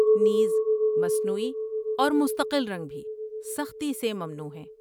نیز، مصنوعی اور مستقل رنگ بھی سختی سے ممنوع ہیں!